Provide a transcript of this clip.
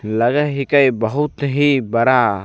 लगय हिके बहुत ही बड़ा --